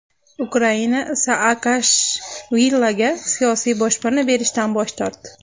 Ukraina Saakashviliga siyosiy boshpana berishdan bosh tortdi.